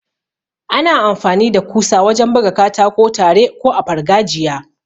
Ana amfani da kusa wajen buga katako tare ko a fargajiya.